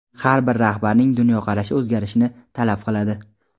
har bir rahbarning dunyoqarashi o‘zgarishini talab qiladi.